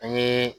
An ye